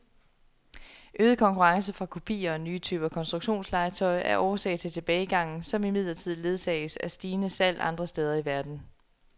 Øget konkurrence fra kopier og nye typer konstruktionslegetøj er årsag til tilbagegangen, som imidlertid ledsages af stigende salg andre steder i verden.